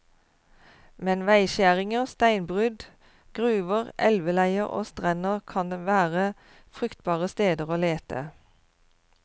Men veiskjæringer, steinbrudd, gruver, elveleier og strender kan være fruktbare steder å lete.